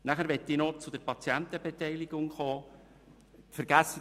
Ich möchte mich noch zur Patientenbeteiligung äussern: